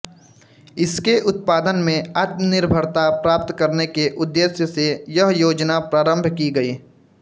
इसके उत्पादन में आत्मनिर्भरता प्राप्त करने के उद्देश्य से यह योजना प्रारम्भ की गई